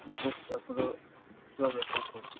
বুকটা পুরো জমে থাকে,